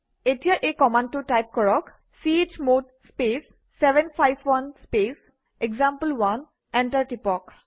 এতিয়া এই কমাণ্ডটো টাইপ কৰক - chmod space 751 space example one enter টিপক